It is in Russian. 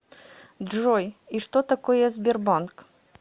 джой и что такое сбербанк